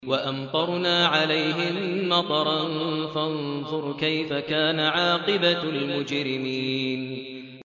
وَأَمْطَرْنَا عَلَيْهِم مَّطَرًا ۖ فَانظُرْ كَيْفَ كَانَ عَاقِبَةُ الْمُجْرِمِينَ